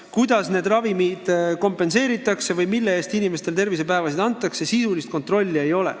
Kuidas ravimeid kompenseeritakse või mille eest inimestele tervisepäevasid antakse, selle üle sisulist kontrolli ei ole.